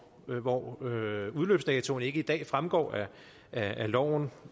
hvor udløbsdatoen ikke i dag fremgår af loven